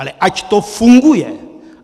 Ale ať to funguje.